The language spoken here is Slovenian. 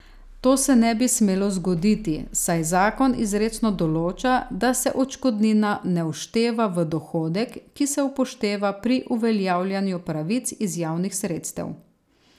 To se ne bi smelo zgoditi, saj zakon izrecno določa, da se odškodnina ne všteva v dohodek, ki se upošteva pri uveljavljanju pravic iz javnih sredstev.